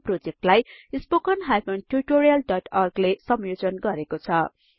यो प्रोजेक्टलाई httpspoken tutorialorg ले संयोजन गरेको छ